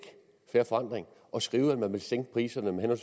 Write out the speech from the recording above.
fair forandring at skrive at man ville sænke priserne med